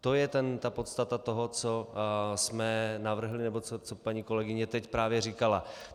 To je ta podstata toho, co jsme navrhli nebo co paní kolegyně teď právě říkala.